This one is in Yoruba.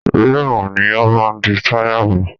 Ríìmù ni ó máa di táyà mú.